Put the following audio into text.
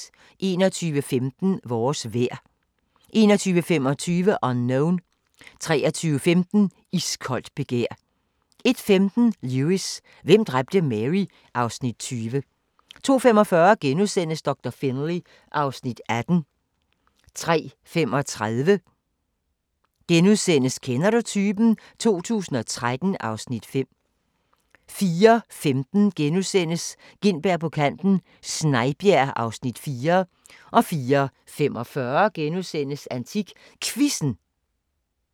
21:15: Vores vejr 21:25: Unknown 23:15: Iskoldt begær 01:15: Lewis: Hvem dræbte Mary? (Afs. 20) 02:45: Doktor Finlay (Afs. 18)* 03:35: Kender du typen? 2013 (Afs. 5)* 04:15: Gintberg på Kanten – Snejbjerg (Afs. 4)* 04:45: AntikQuizzen *